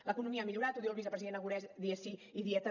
l’economia ha millorat ho diu el vicepresident aragonès dia sí i dia també